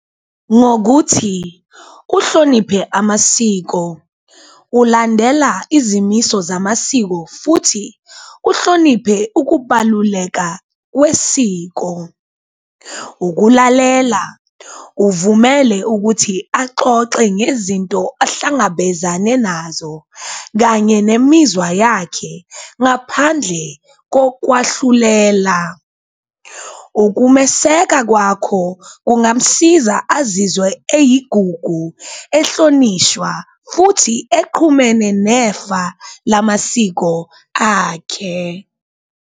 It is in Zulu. Ngokuthi uhloniphe amasiko ulandela izimiso zamasiko futhi uhloniphe ukubaluleka kwesiko, ukulalela uvumele ukuthi axoxe ngezinto ahlangabezane nazo kanye nemizwa yakhe ngaphandle kokwahlulela. Ukumeseka kwakho kungamsiza azizwe eyigugu, ehlonishwa futhi eqhumene nefa lamasiko akhe.